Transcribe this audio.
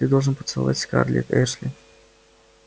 ты должен поцеловать скарлетт эшли